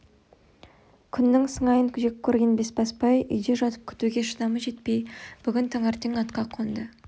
күннің сыңайын жеккөрген бесбасбай үйде жатып күтуге шыдамы жетпей бүгін таңертең атқа қонды